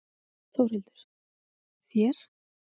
Þórhildur: Þér?